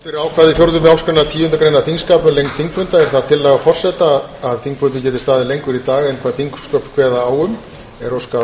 fyrir ákvæði fjórðu málsgreinar tíundu greinar þingskapa um lengd þingfunda er það tillaga forseta að þingfundirnir geti staðið lengur í dag en hvað þingsköp kveða á um e óskað